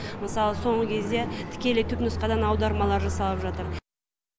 мысалы соңғы кезде тікелей түпнұсқадан аудармалар жасалып жатыр